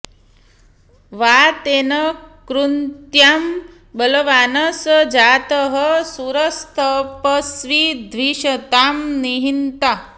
वातेन कुन्त्यां बलवान् स जातः शूरस्तपस्वी द्विषतां निहन्ता